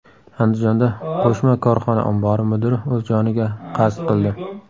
Andijonda qo‘shma korxona ombori mudiri o‘z joniga qasd qildi.